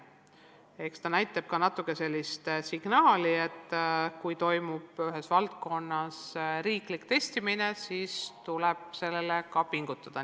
Eks see ole signaal, et kui toimub ühes valdkonnas riiklik testimine, siis tuleb selleks ka pingutada.